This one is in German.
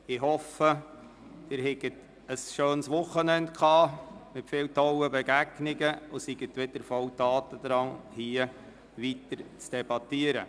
Ich hoffe, dass Sie ein schönes Wochenende mit vielen grossartigen Begegnungen hatten und nun wieder voller Tatendrang sind, um hier weiter zu debattieren.